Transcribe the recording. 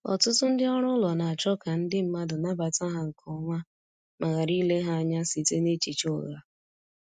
Ọtụtụ ndị ọrụ ụlọ na-achọ ka ndi mmadụ nabata ha nke ọma ma ghara ile ha anya site n’echiche ụgha.